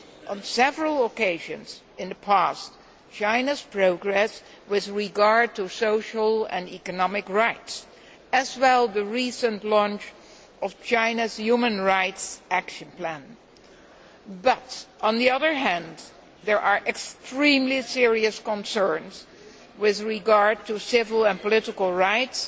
On several occasions in the past, we have welcomed China's progress with regard to social and economic rights, as well as the recent launch of China's human rights action plan, but, on the other hand, there are extremely serious concerns with regard to civil and political rights